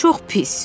Çox pis.